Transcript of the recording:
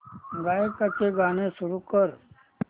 गायकाचे गाणे सुरू कर